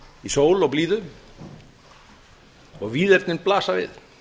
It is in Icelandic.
í sól og blíðu og víðernin blasa við